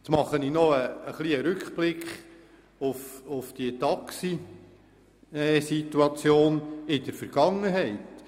Nun mache ich noch einen Rückblick auf die Taxisituation in der Vergangenheit.